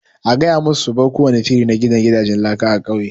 A gaya ma su su bar kowani shiri na gina gidanjen laka a ƙauye!